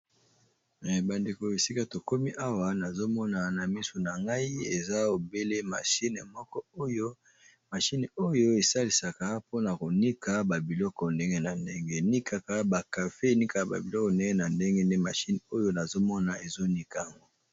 Bandeko esika tokomi awa nazomona na misu na ngai eza ebele mashine moko oyo mashine oyo esalisaka mpona konika babiloko ndenge na ndenge ni kaka bakafe enikaka babiloko nene na ndenge nde mashine oyo nazomona ezonika yango.